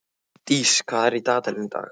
Dís, hvað er í dagatalinu í dag?